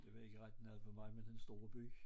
Det var ikke ret meget for mig med den store by